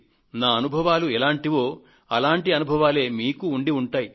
నా అనుభవాలు ఎలాంటివో అటువంటి అనుభవాలే మీకూ ఉండి ఉంటాయి